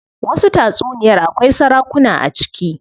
Wasu tatsuniyar akwai sarakuna a ciki.